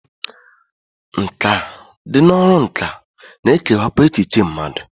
Nkà dị n'ọrụ nkà na-ekewapụ echiche mmadụ.